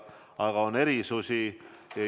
Aga on erisusi.